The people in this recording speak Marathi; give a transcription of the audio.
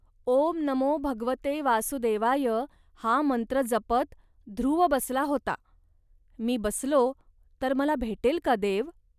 ओम नमो भगवते वासुदेवाय हा मंत्र जपत ध्रुव बसला होता. मी बसलो, तर मला भेटेल का देव